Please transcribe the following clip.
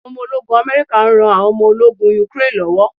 Àwọn ọmọ ológun America n ran àwọn omo ológun Ukraine lọ́wọ́